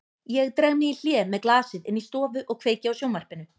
Ég dreg mig í hlé með glasið inn í stofu og kveiki á sjónvarpinu.